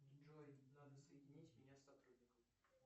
джой надо соединить меня с сотрудником